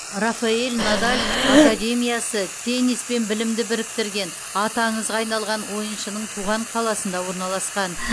рафаэль надаль академиясы теннис пен білімді біріктірген аты аңызға айналған ойыншының туған қаласында орналасқан